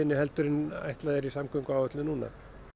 en ætlað er í samgönguáætlun núna